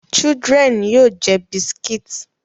Chidlren yoo jẹ buscits